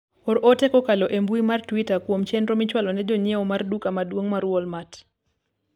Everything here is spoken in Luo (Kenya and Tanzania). or ote kokalo e mbui mar twita kuom chenro michwalo ne jonyiewo mar daka mduong' mar walmart